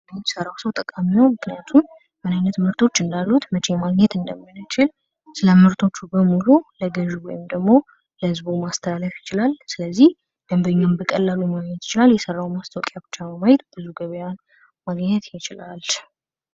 ለሚሰማው ሰው ጠቃሚ ነው ምክንያቱም ምን አይነት ምርቶች እንዳሉት መቼ ማግኘት እንደምንችል ስለ ምርቶቹ በሙሉ ለገዥው ወይም ደግሞ ለህዝቡ ማስተላለፍ ይችላል። ስለዚህ ደንበኛውን በቀላሉ ማግኘት ይቻላል። የሰራውን ጽማስታወቂያ ብቻ በማየት ብዙ ገበያ ማግኘት ይችላል።